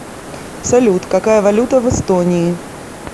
салют какая валюта в эстонии